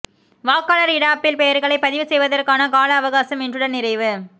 வாக்காளர் இடாப்பில் பெயர்களை பதிவு செய்வதற்கான கால அவகாசம் இன்றுடன் நிறைவு